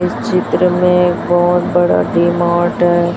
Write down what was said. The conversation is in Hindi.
इस चित्र में बहोत बड़ा डी मार्ट है।